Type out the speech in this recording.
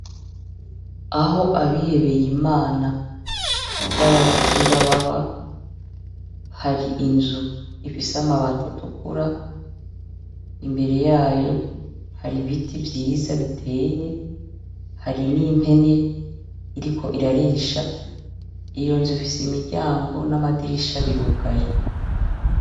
Aho Abihebeyimana b'Ababikira baba hari inzu ifise amabati atukura imbere yayo hari ibiti vyiza biteye, hari n'impene iriko irarisha, iyi nzu ifise imiryango n'amadirisha birugaye.